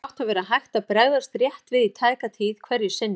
Þannig átti að vera hægt að bregðast rétt við í tæka tíð hverju sinni.